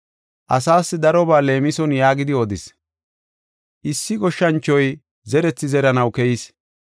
Asaas darobaa leemison yaagidi odis: “Issi goshshanchoy zerethi zeranaw keyis.